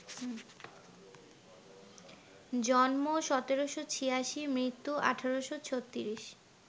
জন্ম ১৭৮৬, মৃত্যু ১৮৩৬